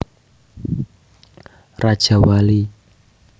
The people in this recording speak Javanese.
Rajawali